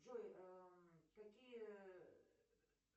джой какие